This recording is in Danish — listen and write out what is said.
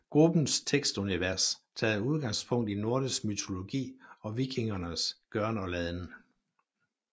Gruppens tekstunivers tager udgangspunkt i nordisk mytologi og vikingernes gøren og laden